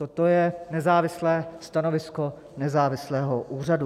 Toto je nezávislé stanovisko nezávislého úřadu.